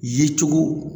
Ye cogo